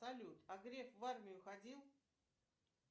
салют а грек в армию ходил